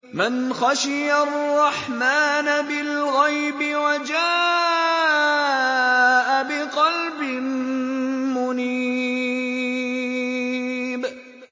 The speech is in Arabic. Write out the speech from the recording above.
مَّنْ خَشِيَ الرَّحْمَٰنَ بِالْغَيْبِ وَجَاءَ بِقَلْبٍ مُّنِيبٍ